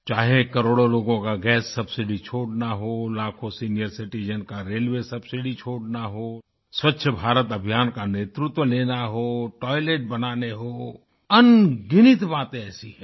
चाहे करोड़ों लोगों का गैस सबसिडी छोड़ना हो लाखों सीनियर सिटिजेन का रेलवे सबसिडी छोड़ना हो स्वच्छ भारत अभियान का नेतृत्व लेना हो टॉयलेट बनाने हो अनगिनत बातें ऐसी हैं